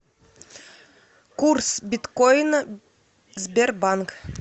курс биткоина сбербанк